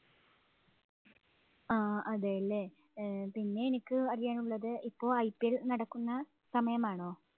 ആഹ് അതെ, അല്ലേ? ഏർ പിന്നെ എനിക്ക് അറിയാനുള്ളത് ഇപ്പോള്‍ IPL നടക്കുന്ന സമയമാണോ?